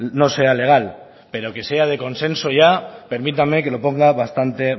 no sea legal pero que sea de consenso ya permítanme que lo ponga bastante